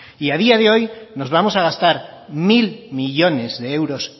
y a día de hoy nos vamos a gastar mil millónes de euros